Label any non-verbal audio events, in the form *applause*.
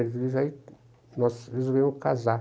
*unintelligible* nós resolvemos casar.